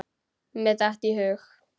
Mér datt í hug.